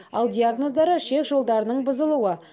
ал диагноздары ішек жолдарының бұзылуы